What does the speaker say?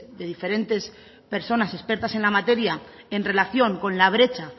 de diferentes personas expertas en la materia en relación con la brecha